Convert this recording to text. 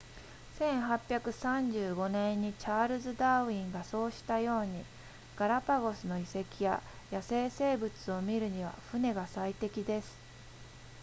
1835年にチャールズダーウィンがそうしたようにガラパゴスの遺跡や野生生物を見るには船が最適です